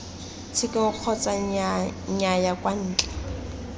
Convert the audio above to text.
tshekong kgotsa nnyaya kwa ntle